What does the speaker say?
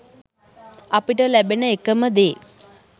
අපිට ලැබෙන එකම දේ